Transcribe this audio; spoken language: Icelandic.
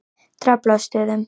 Draflastöðum